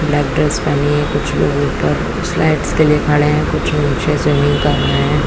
Black dress पहनी है कुछ लोग ऊपर स्लाइड के लिए खड़े है कुछ लोग नीचे जमीन पर हैं ।